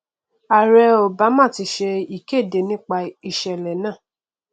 ààrẹ obama ti ṣe ìkéde nípà ìṣẹlẹ náà